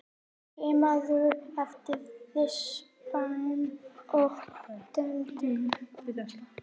Skimaðu eftir rispum og dældum.